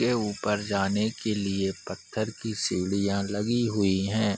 के ऊपर जाने के लिए पत्थर की सीढ़ियां लगी हुई है ।